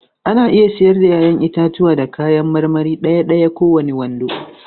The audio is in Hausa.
Ana iya siyar da 'ya'yan itatuwa da kayan marmari ɗaya-ɗaya ko kowane kwando.